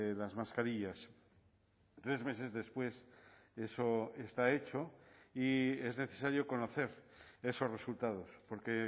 las mascarillas tres meses después eso está hecho y es necesario conocer esos resultados porque